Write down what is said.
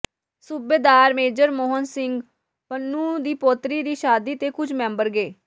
ਸੂਬੇਦਾਰ ਮੇਜਰ ਮੋਹਨ ਸਿੰਘ ਪੱਨੂੰ ਦੀ ਪੋਤਰੀ ਦੀ ਸ਼ਾਦੀ ਤੇ ਕੁਝ ਮੈਂਬਰ ਗਏ